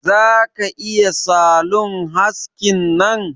Za ka iya salon haskin nan?